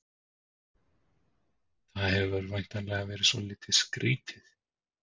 Það hefur væntanlega verið svolítið skrýtið?